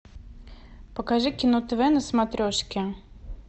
покажи кино тв на смотрешке